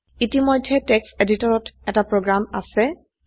ইতিমধ্যে টেক্সট এডিটৰত এটা প্ৰোগ্ৰাম আছে